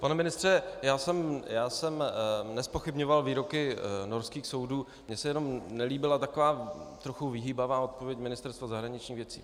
Pane ministře, já jsem nezpochybňoval výroky norských soudů, mně se jenom nelíbila taková trochu vyhýbavá odpověď Ministerstva zahraničních věcí.